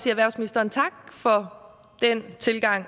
erhvervsministeren tak for den tilgang